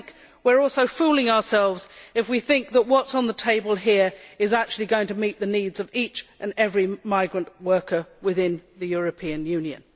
We are also fooling ourselves if we think that what is on the table here is actually going to meet the needs of each and every migrant worker within the European Union.